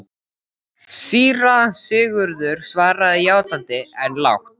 Síra Sigurður svaraði játandi, en lágt.